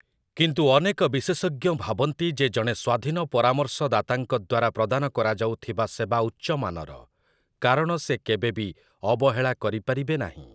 କିନ୍ତୁ ଅନେକ ବିଶେଷଜ୍ଞ ଭାବନ୍ତି ଯେ ଜଣେ ସ୍ୱାଧୀନ ପରାମର୍ଶଦାତାଙ୍କ ଦ୍ୱାରା ପ୍ରଦାନ କରାଯାଉଥିବା ସେବା ଉଚ୍ଚମାନର, କାରଣ ସେ କେବେ ବି ଅବହେଳା କରିପାରିବେ ନାହିଁ ।